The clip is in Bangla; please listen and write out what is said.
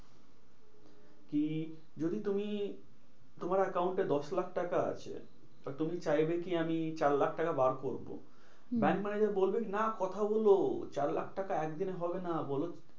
কি যদি তুমি তোমার account এ দশ লাখ টাকা আছে, তো তুমি চাইবে কি আমি চার লাখ টাকা বার করবো। হম ব্যাঙ্ক manager বলবে কি না কথা বলো, চার লাখ টাকা একদিনে হবে না। বলো